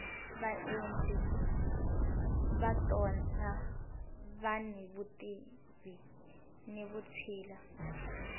vaendli va tona vani vutivi ni vutshila